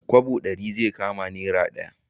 Kwabo ɗari zai kama naira ɗaya